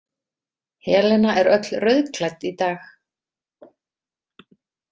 Helena er öll rauðklædd í dag.